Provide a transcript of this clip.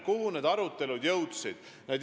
Kuhu me nende aruteludega jõudsime?